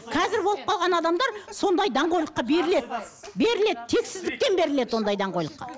қазір болып қалған адамдар сондай даңғойлыққа беріледі беріледі тексіздіктен беріледі ондай даңғойлыққа